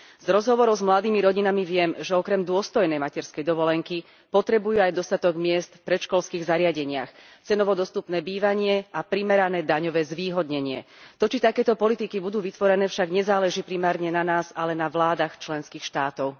Z rozhovorov s mladými rodinami viem, že okrem dôstojnej materskej dovolenky potrebujú aj dostatok miest v predškolských zariadeniach, cenovo dostupné bývanie a primerané daňové zvýhodnenie. To, či takéto politiky budú vytvorené, však nezáleží primárne na nás, ale na vládach členských štátov.